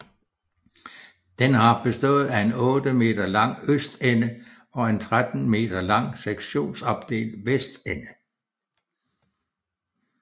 Det har bestået af en 8 m lang østende og en 13 m lang sektionsopdelt vestende